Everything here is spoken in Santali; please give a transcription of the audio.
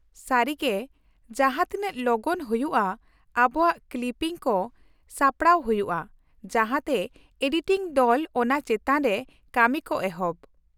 -ᱥᱟᱹᱨᱤ ᱜᱮ ᱡᱟᱦᱟᱸᱛᱤᱱᱟᱜ ᱞᱚᱜᱚᱱ ᱦᱩᱭᱩᱜᱼᱟ ᱟᱵᱚᱣᱟᱜ ᱠᱞᱤᱯᱤᱝ ᱠᱚ ᱥᱟᱯᱲᱟᱣ ᱦᱩᱭᱩᱜᱼᱟ ᱡᱟᱦᱟᱸᱛᱮ ᱮᱰᱤᱴᱤᱝ ᱫᱚᱞ ᱚᱱᱟ ᱪᱮᱛᱟᱱ ᱨᱮ ᱠᱟᱹᱢᱤ ᱠᱚ ᱮᱦᱚᱵ ᱾